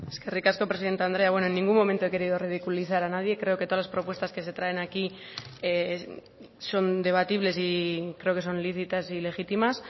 eskerrik asko presidente andrea bueno en ningún momento he querido ridiculizar a nadie creo que todas las propuestas que se traen aquí son debatibles y creo que son lícitas y legítimas